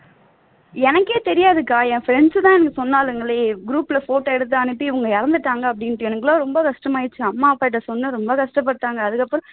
எனக்கே தெரியாதுக்கா என் friends தான் எனக்கு சொன்னாளுங்களே group ல photo எடுத்து அனுப்பி இவங்க இறந்துட்டாங்க அப்படீன்னுட்டு எனக்கெல்லாம் ரொம்ப கஷ்டாமாயிருச்சு அம்மா அப்பா கிட்ட சொன்னேன் ரொம்ப கஷ்டப்பட்டாங்க அதுக்கப்பறம்